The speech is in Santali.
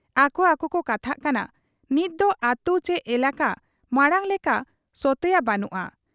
ᱟᱠᱚ ᱟᱠᱚ ᱠᱚ ᱠᱟᱛᱷᱟᱜ ᱠᱟᱱᱟ, 'ᱱᱤᱛᱫᱚ ᱟᱹᱛᱩ ᱪᱤ ᱮᱞᱟᱠᱟ ᱢᱟᱬᱟᱝ ᱞᱮᱠᱟ ᱥᱚᱛᱮᱭᱟ ᱵᱟᱹᱱᱩᱜ ᱟ ᱾